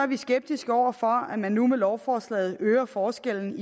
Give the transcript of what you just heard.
vi skeptiske over for at man nu med lovforslaget øger forskellen